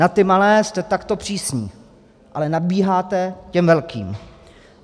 Na ty malé jste takto přísní, ale nadbíháte těm velkým.